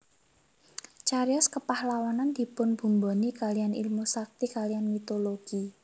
Cariyos kepahlawanan dipunbumboni kaliyan ilmu sakti kaliyan mitologi